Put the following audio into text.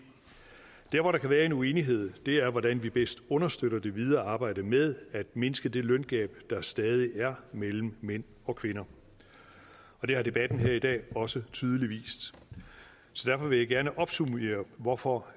der hvor der kan være en uenighed er hvordan vi bedst understøtter det videre arbejde med at mindske det løngab der stadig er mellem mænd og kvinder og det har debatten her i dag også tydeligt vist så derfor vil jeg gerne opsummere hvorfor